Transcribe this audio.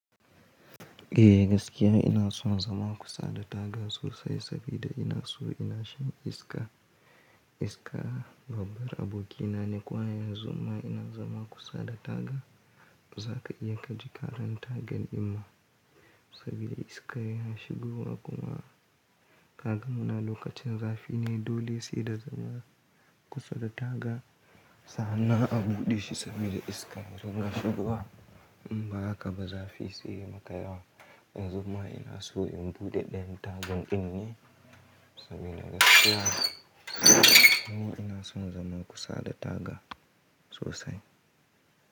Eh gaskiya ina son zama kusa da taga sosai sabida ina so inashan iska. Iska babbar abokina ne, kwaya yanzu ma ina zama kusa da taga. Zaka iya kaji ƙaranta gaɗin ma saboda iska yana shigowa kuma ka gama lokacin zafi ne dole sai da zama kusa da taga sannan a buɗe shi saboda iska yazo na shigowa. In ba haka ba zafi sai makayawa. Yanzu ma ina so in buɗe ɗayan tagan din ne saboda gaskiya kuma ina son zama kusa da taga sosai.